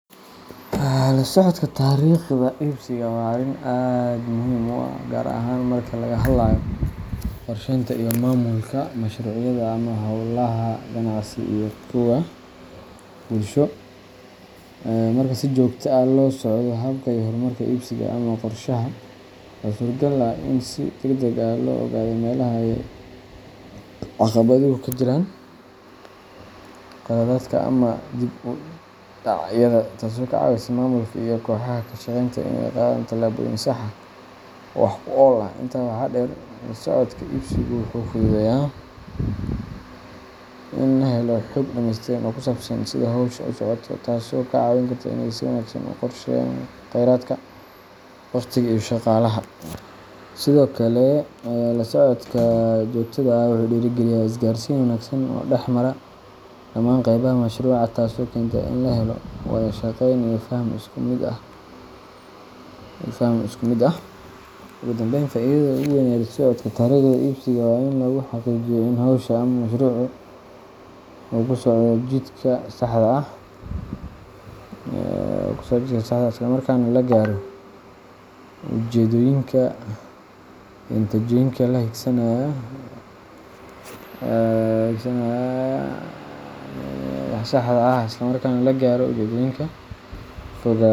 Lasocodka tariiqda ibsiga waa arrin aad muhiim u ah, gaar ahaan marka laga hadlayo qorsheynta iyo maamulka mashruucyada ama hawlaha ganacsi iyo kuwa bulsho. Marka si joogto ah loo la socdo habka iyo horumarka ibsiga (ama qorshaha) waxaa suuragal ah in si degdeg ah loo ogaado meelaha ay caqabaduhu ka jiraan, khaladaadka, ama dib u dhacyada, taasoo ka caawisa maamulka iyo kooxaha ka shaqeynaya inay qaadaan tallaabooyin sax ah oo wax ku ool ah. Intaa waxaa dheer, lasocodka ibsiga wuxuu fududeeyaa in la helo xog dhameystiran oo ku saabsan sida hawsha u socoto, taasoo ka caawin karta inay si wanaagsan u qorsheeyaan kheyraadka, waqtiga, iyo shaqaalaha. Sidoo kale, la socodka joogtada ah wuxuu dhiirrigeliyaa isgaarsiin wanaagsan oo dhex mara dhammaan qaybaha mashruuca, taasoo keenta in la helo wada shaqeyn iyo faham isku mid ah. Ugu dambayn, faa’idada ugu weyn ee lasocodka tariiqda ibsiga waa in lagu xaqiijiyo in hawsha ama mashruucu uu ku socdo jidka saxda ah, isla markaana la gaaro ujeeddooyinka iyo natiijooyinka la higsanayo, iyada oo laga fogaado.